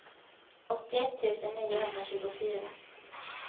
åttioett tusen niohundratjugofyra